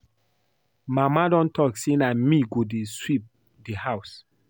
Mama don talk say na me go dey sweep the house